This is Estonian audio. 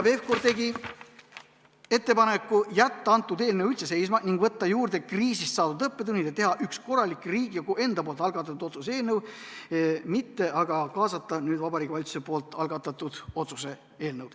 Pevkur tegi ettepaneku jätta eelnõu üldse seisma, võtta arvesse kriisist saadud õppetunnid ja teha üks korralik Riigikogu enda algatatud otsuse eelnõu, mitte kaasata Vabariigi Valitsuse algatatud otsuse eelnõu.